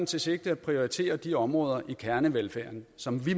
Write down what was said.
til sigte at prioritere de områder i kernevelfærden som vi